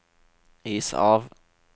is av